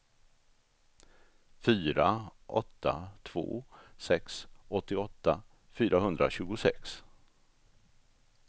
fyra åtta två sex åttioåtta fyrahundratjugosex